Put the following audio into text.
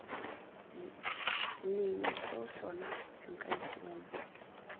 lengwe seo sona nka itoma